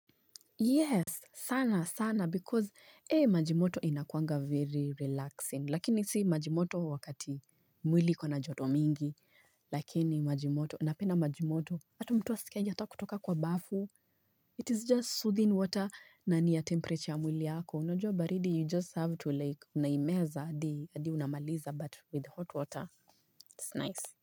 Yes, sana sana because maji moto inakuanga very relaxing lakini si maji moto wakati mwili iko na joto mingi lakini maji moto napenda maji moto hata mtu asikiaje hataki kutoka kwa bafu it is just soothing water na ni ya temperature ya mwili yako unajua baridi you just have to like unaimeza adi unamaliza but with hot water it's nice.